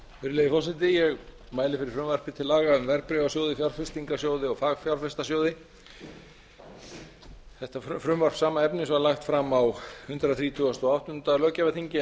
virðulegi forseti ég mæli fyrir frumvarpi til laga um verðbréfasjóði fjárfestingarsjóði og fagfjárfestasjóði frumvarp sama efnis var lagt fram á hundrað þrítugasta og áttunda löggjafarþingi en